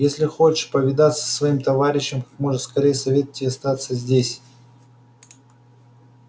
если хочешь повидаться со своим товарищем как можно скорее советую тебе остаться здесь